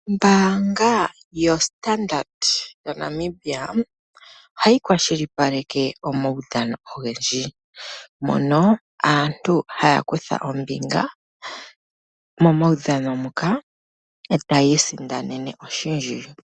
Ombanga yaStandard yaNamibia ohayi kwashilipaleke omaudhano ogendji mono aantu haya kutha ombinga momaudhano muka etayi isindanena oshindji.